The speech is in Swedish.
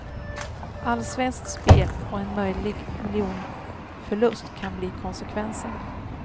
Allsvenskt spel och en möjlig miljonförlust kan bli konsekvensen.